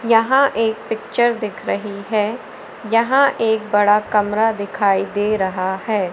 यहां एक पिक्चर दिख रही है यहां एक बड़ा कमरा दिखाई दे रहा है।